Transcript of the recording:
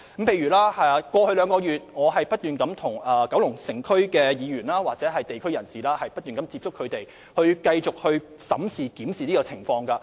過去2個月，我不斷跟九龍城區議員或地區人士接觸，繼續審視有關情況。